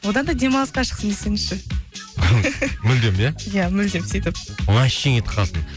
одан да демалысқа шықсын десеңізші мүлдем иә иә мүлдем сөйтіп вообще кетіп қалсын